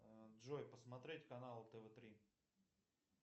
джой посмотреть канал тв три